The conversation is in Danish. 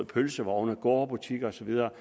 pølsevogne gårdbutikker og så videre